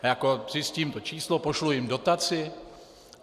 Jako zjistím to číslo, pošlu jim dotaci?